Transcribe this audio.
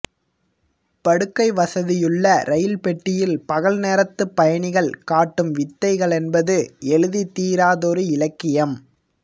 படுக்கை வசதியுள்ள ரயில் பெட்டியில் பகல் நேரத்து பயணிகள் காட்டும் வித்தைகளென்பது எழுதித்தீராதொரு இலக்கியம்